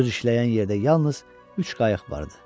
Göz işləyən yerdə yalnız üç qayıq vardı.